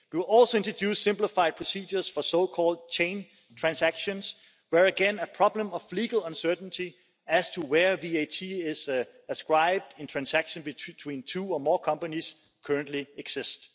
We will also introduce simplified procedures for so-called chain transactions, where again a problem of legal uncertainty as to where VAT is ascribed in transactions between two or more companies currently exists.